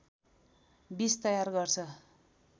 विष तयार गर्छ